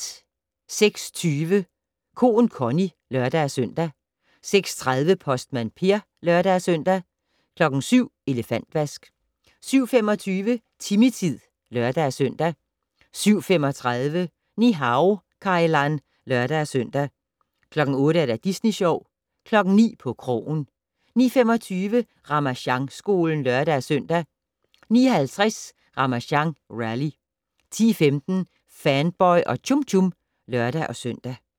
06:20: Koen Connie (lør-søn) 06:30: Postmand Per (lør-søn) 07:00: Elefantvask 07:25: Timmy-tid (lør-søn) 07:35: Ni-Hao Kai Lan (lør-søn) 08:00: Disney Sjov 09:00: På krogen 09:25: Ramasjangskolen (lør-søn) 09:50: Ramasjang Rally 10:15: Fanboy og Chum Chum (lør-søn)